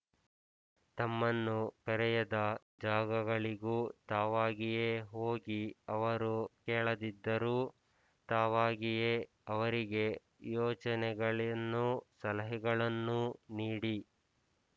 ತಮ್ಮನ್ನು ಕರೆಯದ ಜಾಗಗಳಿಗೂ ತಾವಾಗಿಯೇ ಹೋಗಿ ಅವರು ಕೇಳದಿದ್ದರೂ ತಾವಾಗಿಯೇ ಅವರಿಗೆ ಯೋಚನೆಗಳನ್ನೂ ಸಲಹೆಗಳನ್ನೂ ನೀಡಿ